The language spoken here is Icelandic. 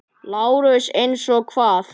LÁRUS: Eins og hvað?